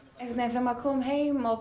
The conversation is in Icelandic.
þegar maður kom heim og